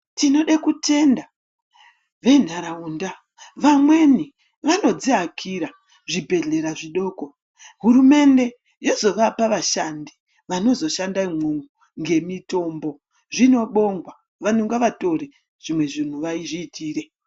Tinode kutenda venharaunda vamweni vanodziakira zvibhedhlera zvidoko, hurumende yozovapa vashandi vanozoshando umwomwo ngemitombo zvinobongwa vantu ngavatore zvimwe zvinhu vazviitire.